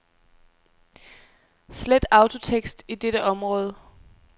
Slet autotekst i dette område.